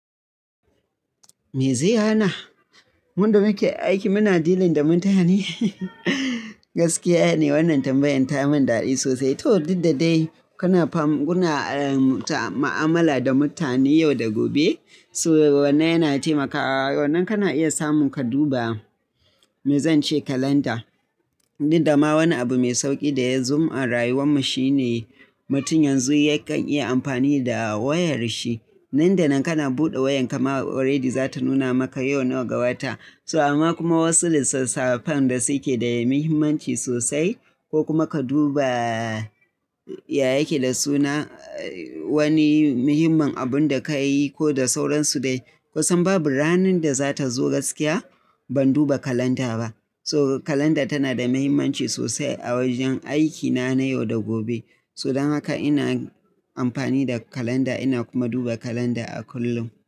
Me zai hana? Mu da muke aikin muna dealing da mutane. Gaskiya ne wannan tambayan ta yi min daɗi sosai. Ta duk da dai kuna ma'amala da mutane yau da gobe. So wannan yana taimakawa, wannan kana iya samun ka duba, me zan ce kalanda. Duk da ma wani abu mai sauƙi da ya zo a rayuwar mu shine mutum yanzu yakan iya amfani da wayar shi. Nan da nan kana buɗe wayar kama already za ta nuna maka yau nawa ga wata. So amma kuma wasu lissafan da suke da muhimmanci sosai ko kuma ka duba yaya yake da suna wani muhimman abun da ka yi ko da sauransu dai. Kusan babu ranar da za ta zo gaskiya ban duba kalanda ba. So kalanda tana da muhimmanci sosai a wajen aikina na yau da gobe. So don haka ina amfani da kalanda ina kuma duba kalanda a kullum.